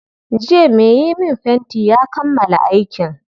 Jiya mai yi min fenti ya kammala aikin.